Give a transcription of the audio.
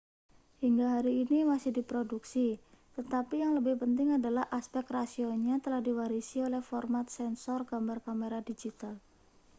hingga hari ini masih diproduksi tetapi yang lebih penting adalah aspek rasionya telah diwarisi oleh format sensor gambar kamera digital